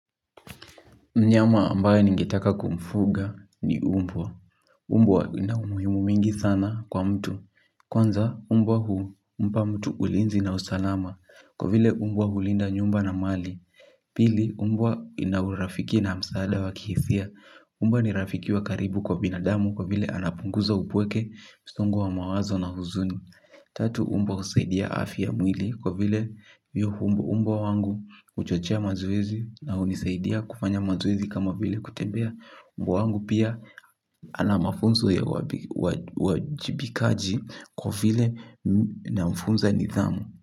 Mnyama ambaye ningetaka kumfuga ni mbwa. Mbwa lina umuhimu mingi sana kwa mtu. Kwanza mbwa humpa mtu ulinzi na usalama kwa vile mbwa hulinda nyumba na mali. Pili mbwa inaurafiki na msaada wa kihisia. Mbwa ni rafiki wa karibu kwa binadamu kwa vile anapunguza upweke, msongo wa mawazo na huzuni. Tatu, mbwa husaidia afya ya mwili kwa vile hiyo mbwa wangu huchochea mazoezi na hunisaidia kufanya mazoezi kama vile kutembea mbwa wangu pia ana mafunzo ya uwajibikaji kwa vile namfunza nidhamu.